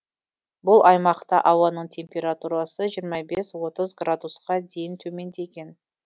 бұл аймақта ауаның температурасы жиырма бес отыз градусқа дейін төмендеген